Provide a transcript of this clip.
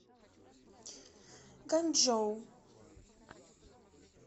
ганьчжоу